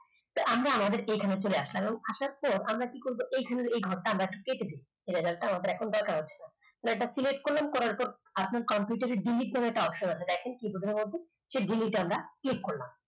আমরা আমাদের এখানে চলে আসলাম এবং আসার পর আমরা কি করব এইখানের এই ঘরটা আমরা কেটে দেব এই result টা আমাদের এখন দরকার হচ্ছে না এটা create করলাম করার পর আপনার computer র delete বলে একটা option আছে দেখেন keyboard র মধ্যে সেই delete আমরা click করলাম